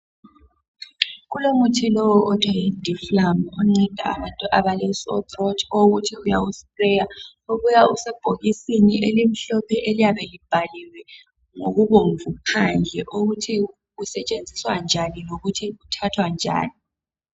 Kulomuthi othiwa yi Difflam onceda abantu abale sore throat okuthi uyawu sprayer, uyabe usebhokisini elimhlophe eliyabe libhaliwe ngokubomvu phandle ukuthi usetshenziswa njani lokuthi uthathwa njani